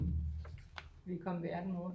Vi kom verden rundt